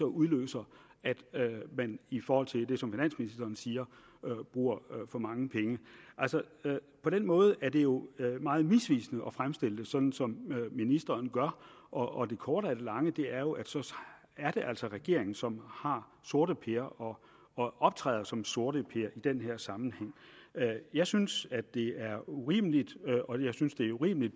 udløser at de i forhold til det som finansministeren siger bruger for mange penge altså på den måde er det jo meget misvisende at fremstille det sådan som ministeren gør og det korte af det lange er jo at så er det altså regeringen som har sorteper og optræder som sorteper i den her sammenhæng jeg synes det er urimeligt og jeg synes det er urimeligt